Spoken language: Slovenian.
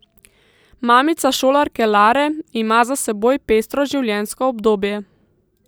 Mamica šolarke Lare ima za seboj pestro življenjsko obdobje.